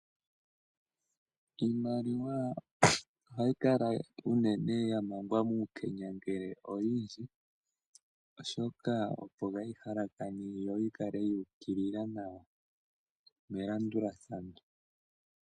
Iimaliwa ohayi kala unene ya mangwa muukenya ngele oyindji, oshoka opo kaa yi halakane yo yi kale yu ukilila nawa melandulathano.